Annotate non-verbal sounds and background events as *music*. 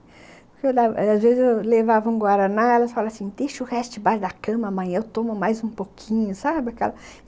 *unintelligible* Às vezes eu levava um guaraná e ela falava assim, deixa o resto debaixo da cama, amanhã eu tomo mais um pouquinho, sabe?